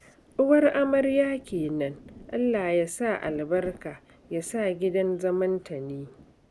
Uwar Amarya kenan, Allah ya sa albarka, ya sa gidan zamanta ne